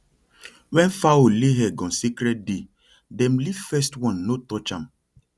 when fowl lay egg on sacred day dem leave first one no touch am